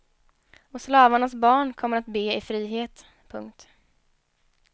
Och slavarnas barn kommer att be i frihet. punkt